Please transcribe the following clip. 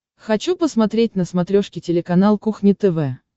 хочу посмотреть на смотрешке телеканал кухня тв